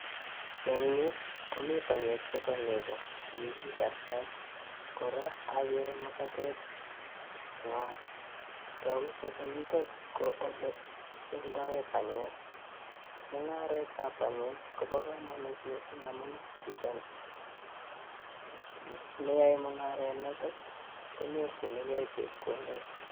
Eng nyuu komii panyeek chebo negooo AK agere muitoo nemitei tapan yotok ,neaeee mungara nitok komitei komnyee amun name rapishek